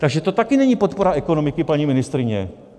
Takže to taky není podpora ekonomiky, paní ministryně.